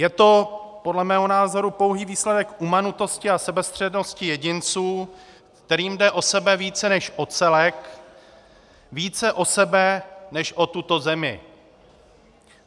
Je to podle mého názoru pouhý výsledek umanutosti a sebestřednosti jedinců, kterým jde o sebe více než o celek, více o sebe než o tuto zemi.